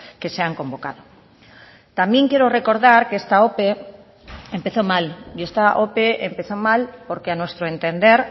que se han convocado también quiero recordar que esta ope empezó mal y esta ope empezó mal porque a nuestro entender